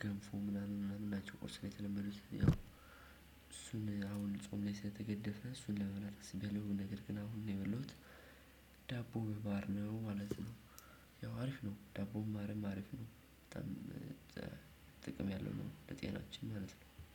ገንፎ ምናምን ምናምን ናቸው ቁርስ ነው የተለመዱት። ያው አሁን እሱን አሁን ላይ ጾም ላይ ስለተገደፈ እሱን ለመብላት አስቤ ያለው ነገር ግን አሁን ነው የበላሁት። ዳቦ በማር ነው ማለት ነው። ያው አሪፍ ነው ዳቦም ማርም አሪፍ ነው። በጣም ጥቅም ያለው ነው ለጤናችን ማለት ነው